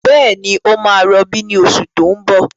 Bẹ́ẹ̀ni, ó máa rọbí ní oṣù tí ń bọ̀.